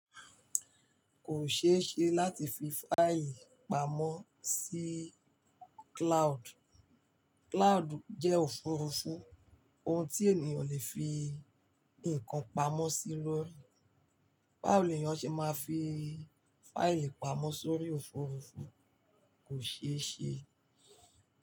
Kò ṣeéṣe láti fi fáìlì pamọ́ sí cloud. Cloud jẹ́ òfurufú, ohun tí ènìyàn le fi nǹkan pamọ́ sí lórí. Báwo ni ènìyàn ṣe máa fi fáìlì pamọ́ sórí òfurufú? Kò ṣeéṣe.